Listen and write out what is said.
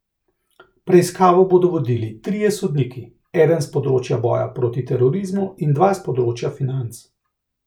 Preiskavo bodo vodili trije sodniki, eden s področja boja proti terorizmu in dva s področja financ.